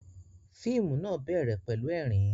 Fíìmù náà bẹ̀rẹ̀ pẹ̀lú ẹ̀rín